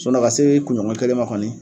Ka se kunɲɔgɔn kelen ma kɔni